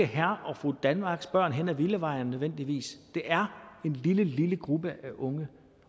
herre og fru danmarks børn på villavejene det er en lille lille gruppe af unge